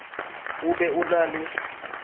o be o na le